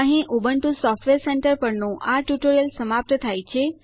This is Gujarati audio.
અહીં ઉબુન્ટુ સોફ્ટવેર સેન્ટર પરનું આ ટ્યુટોરીયલ સમાપ્ત થાય છે